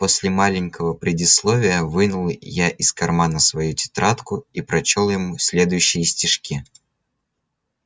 после маленького предисловия вынул я из кармана свою тетрадку и прочёл ему следующие стишки